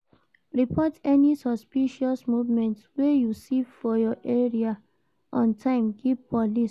Report any suspicious movement wey you see for your area on time give police